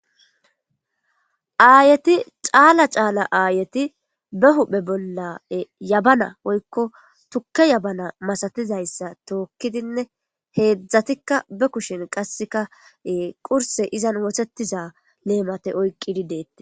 aayeti caala caala aayeti be huphe bolla yabana oykko tukke yabana masatizayssa tookkidinne heedzdzatikka be kushin qasseka qurse izan wotetiza leemate oyqqidi deette